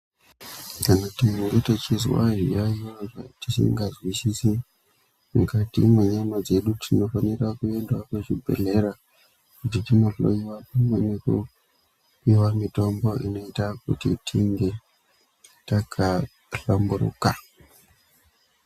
Kana munhu achinga achizwa zviyaiyo zvaasingazwisisi mukati mwenyama dzedu tinofanire kuenda kuchibhedhlera kuti tindohloyiwa pamwe nekupiwa mitombo inoita kuti tinge takahlamburika.